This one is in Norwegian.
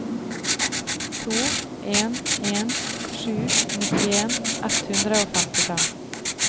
to en en sju nittien ett hundre og femtifem